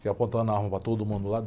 Fiquei apontando na arma para todo mundo lá.